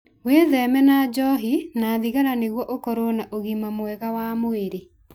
Wĩtheme na njohi na thigara nĩguo ũkorwo na ũgima wa mwĩrĩ mwega.